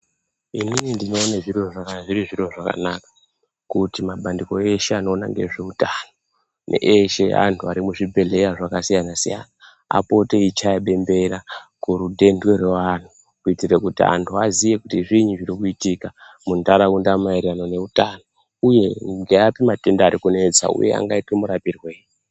Inin ndinowone zviri zviro zvakanaka kuti mabandiko eshe anoona ngezveutano nge eshe andu ari muzvibhedhleya zvakasiyana siyana apote eyichaya bembera kurutende revanhu kuitire kuti vandu vaziye kuti zviini zviri kuitika mundaraunda maererano neutano uye ngeapi matenda ari kunetsa uye angaitwe marapirwe eyi.